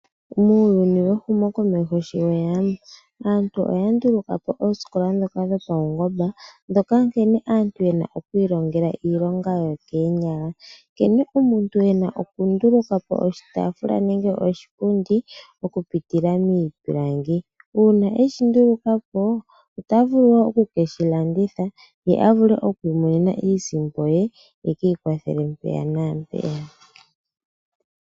Muuyuni wehumokomeho sho weya aantu oya ndulukapo oosikola ndhoka dho pawungomba ndhoka nkene aantu yena oku ilongela iilonga yo koonyala nkene omuntu ena oku ndulukapo oshitaafula nenge oshipundi oku pitila miipilangi. Uuma eshi ndulukapo otavulu woo oku keshi landitha ye avule oku imonena iisimpo ye eki ikwathele mpeya naampeya.